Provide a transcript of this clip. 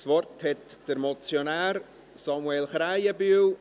» Das Wort hat der Motionär, Samuel Krähenbühl.